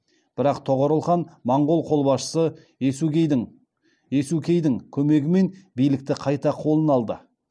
бірақ тоғорыл хан моңғол қолбасшысы есукейдің көмегімен билікті қайта қолына алды